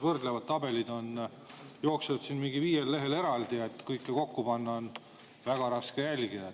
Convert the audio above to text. Võrdlevad tabelid jooksevad siin mingil viiel lehel eraldi, raske on kõike kokku panna, on väga raske jälgida.